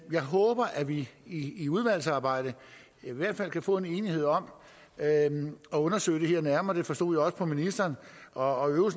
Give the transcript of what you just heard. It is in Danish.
jeg håber at vi i i udvalgsarbejdet i hvert fald kan få en enighed om at undersøge det her nærmere det forstod jeg også på ministeren og